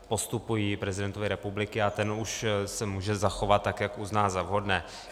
- postupují prezidentovi republiky a ten už se může zachovat tak, jak uzná za vhodné.